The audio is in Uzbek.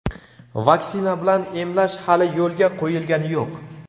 Vaksina bilan emlash hali yo‘lga qo‘yilgani yo‘q.